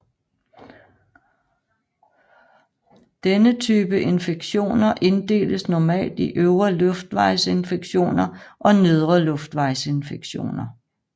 Denne type infektioner inddeles normalt i øvre luftvejsinfektioner og nedre luftvejsinfektioner